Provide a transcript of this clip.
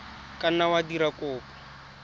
ka nna wa dira kopo